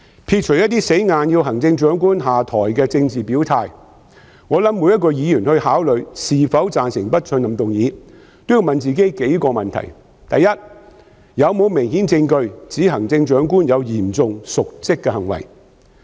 撇除一些硬要行政長官下台的政治表態，我相信每位議員考慮是否贊成不信任議案時，也要問自己數個問題：第一，有否明顯證據指行政長官有嚴重瀆職行為？